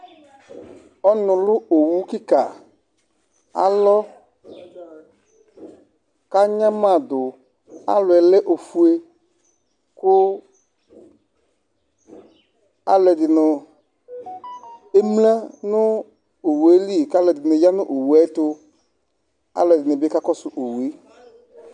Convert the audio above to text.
Ɔnulu owu kìka alɔ kʋ anyamaɖu Alɔɛ lɛ ɔƒʋe Kʋ alu ɛɖìní emla ŋu owue li kʋ alu ɛɖìní ya ŋu owue tu Alu ɛɖìní bi kakɔsu owue